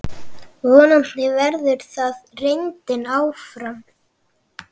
Vonandi verður það reyndin áfram.